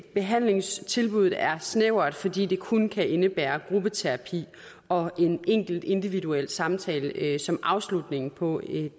behandlingstilbuddet er snævert fordi det kun kan indebære gruppeterapi og en enkelt individuel samtale som afslutning på